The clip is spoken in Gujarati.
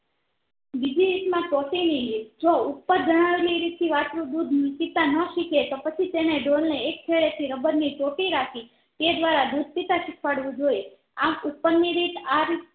બીજી રીત માં ટોટી ની રીત જો ઉપર જણાવેલી રીત થી વાસ્ત્રુ નું દુધ પીતા ન શીખે તો પછી તેને ડોલને એક છડે થી રબર ની ટોટી રાખી તે દ્વારા દુધ પીતા શીખવાડવું જોઈએ આમ ઉપરની રીત